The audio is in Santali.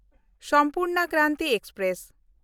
ᱥᱚᱢᱯᱩᱨᱱᱟ ᱠᱨᱟᱱᱛᱤ ᱮᱠᱥᱯᱨᱮᱥ